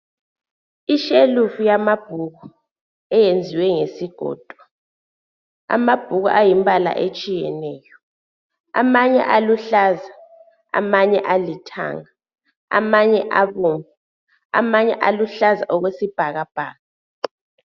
Ishelufu yamabhuku eyenziwe ngesigodo. Amabhuku ayimbala etshiyeneyo, amanye aluhlaza, amanye alithanga, amanye abomvu. Amanye aluhlaza okwesibhakabhaka.